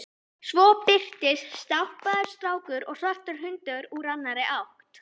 Svo birtast stálpaður strákur og svartur hundur úr annarri átt.